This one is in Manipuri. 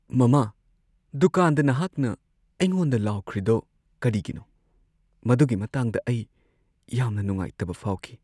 ꯃꯃꯥ! ꯗꯨꯀꯥꯟꯗ ꯅꯍꯥꯛꯅ ꯑꯩꯉꯣꯟꯗ ꯂꯥꯎꯈ꯭ꯔꯤꯗꯣ ꯀꯔꯤꯒꯤꯅꯣ, ꯃꯗꯨꯒꯤ ꯃꯇꯥꯡꯗ ꯑꯩ ꯌꯥꯝꯅ ꯅꯨꯡꯉꯥꯏꯇꯕ ꯐꯥꯎꯈꯤ꯫